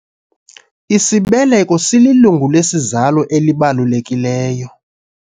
Isibeleko sililungu lesizalo elibalulekileyo.